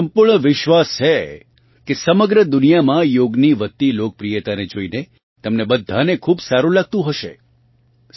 મને સંપૂર્ણ વિશ્વાસ છે કે સમગ્ર દુનિયામાં યોગની વધતી લોકપ્રિયતાને જોઇને તમને બધાને ખૂબ સારું લાગતું હશે